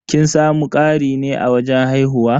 Kin samu ƙari ne a wajen haihuwa?